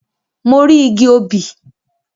Mo rí igi obì.